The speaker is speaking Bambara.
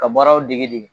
Ka baaraw degi dege